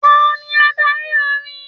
Tani adarí orin?